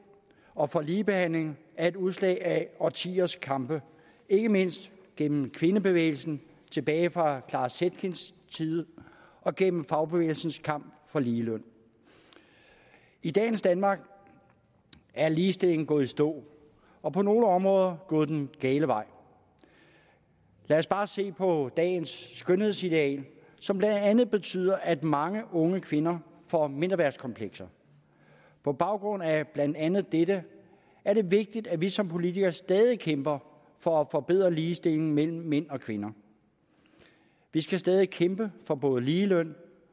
og for ligebehandling er et udslag af årtiers kampe ikke mindst gennem kvindebevægelsen tilbage fra clara zetkins tid og gennem fagbevægelsens kamp for ligeløn i dagens danmark er ligestillingen gået i stå og på nogle områder gået den gale vej lad os bare se på dagens skønhedsideal som blandt andet betyder at mange unge kvinder får mindreværdskomplekser på baggrund af blandt andet dette er det vigtigt at vi som politikere stadig kæmper for at forbedre ligestillingen mellem mænd og kvinder vi skal stadig kæmpe for både ligeløn